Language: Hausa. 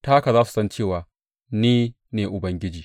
Ta haka za su san cewa ni ne Ubangiji.